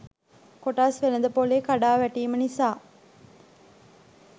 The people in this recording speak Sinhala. කොටස් වෙළඳපොලේ කඩාවැටීම නිසා